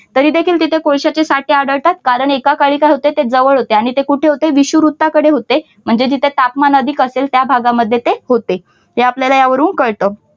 तरी देखील तिथे कोळशाचे साठे आढळतात कारण एका काळी काय होते ते जवळ होते आणि ते कुठे होते विषुवृत्ताकडे होते म्हणजे जिथे तापमान अधिक असेल त्या भागांमध्ये ते होते. हे आपल्याला यावरून कळत.